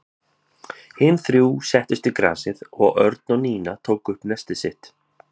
Hin þrjú settust í grasið og Örn og Nína tóku upp nestið sitt.